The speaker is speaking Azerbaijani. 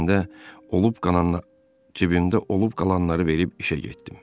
Cibimdə olub qalanları verib işə getdim.